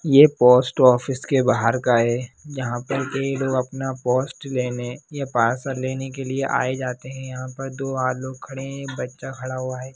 ये post office के बाहर का है यहां पर ये लोग अपना पोस्ट लेने या पार्सल लेने के लिए आए जाते है यहां पर दो अ लोग खड़े हैं बच्चा खड़ा है।